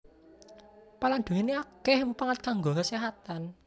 Pala nduweni akeh mupangat kanggo keséhatan